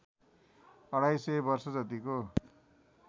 अढाई सय वर्षजतिको